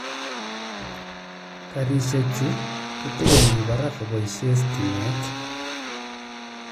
Karisiek chu kotorkomii parak koboisie stimet.